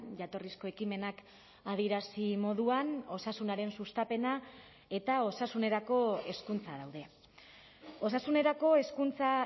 jatorrizko ekimenak adierazi moduan osasunaren sustapena eta osasunerako hezkuntza daude osasunerako hezkuntza